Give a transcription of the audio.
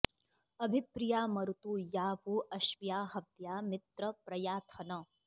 अभि प्रिया मरुतो या वो अश्व्या हव्या मित्र प्रयाथन